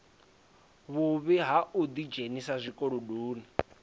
vhuvhi ha u ḓidzhenisa zwikolodoni